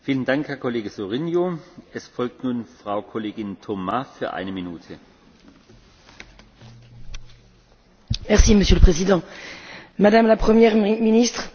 Monsieur le Président, Madame la Première ministre, la réussite du plan d'investissement pour relancer la croissance et l'emploi est affichée dans votre programme comme une priorité et je m'en réjouis.